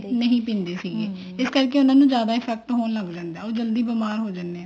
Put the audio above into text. ਨਹੀਂ ਪਿੰਦੀ ਸੀਗੀ ਇਸ ਕਰਕੇ ਉਹਨਾ ਨੂੰ ਜਿਆਦਾ effect ਹੋਣ ਲੱਗ ਜਾਂਦਾ ਉਹ ਜਲਦੀ ਬੀਮਾਰ ਹੋ ਜਾਂਦੇ ਆ